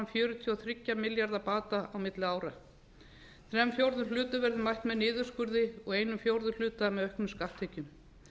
fjörutíu og þrjá milljarða bata á milli ára þrír fjórðu hlutum verður mætt með niðurskurði og einn fjórði hluta með auknum skatttekjum